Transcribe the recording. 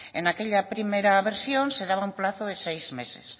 en aquella primera versión se daba un plazo de seis meses